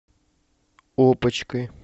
опочкой